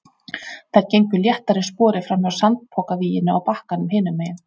Þær gengu léttar í spori framhjá sandpokavíginu á bakkanum hinum megin.